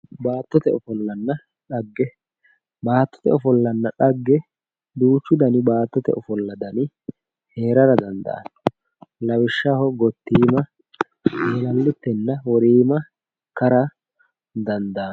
baatote ofollanna xagge baatote ofollanna xagge duuchu dani baatote ofolla dani heerara dandaano lawishshaho gottiima, eelallittenna woriima ikara dandaano.